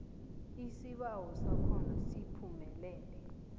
isibawo sakho siphumelele